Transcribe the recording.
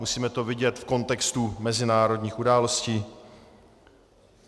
Musíme to vidět v kontextu mezinárodních událostí.